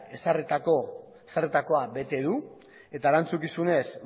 ezarritakoa bete du eta erantzukizunez